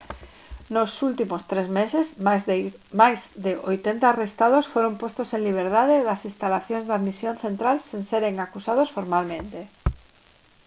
nos últimos tres meses máis de 80 arrestados foron postos en liberdade das instalacións de admisión central sen seren acusados formalmente